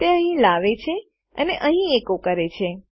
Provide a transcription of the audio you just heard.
તે અહીં લાવે છે અને અહીં એકો કરે છે